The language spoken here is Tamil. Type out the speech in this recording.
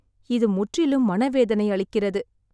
இது முற்றிலும் மனவேதனை அளிக்கிறது.